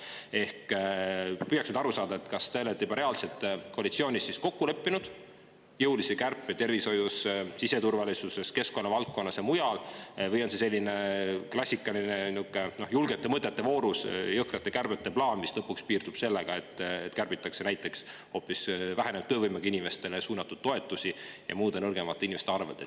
Äkki püüaks nüüd aru saada, kas te olete juba reaalselt koalitsioonis kokku leppinud jõulised kärped tervishoius, siseturvalisuses, keskkonnavaldkonnas ja mujal või on see selline klassikaline julgete mõtete vooru jõhkrate kärbete plaan, mis lõpuks piirdub sellega, et kärbitakse näiteks hoopis vähenenud töövõimega inimestele suunatud toetusi ja üldse kärbitakse nõrgemate inimeste arvelt.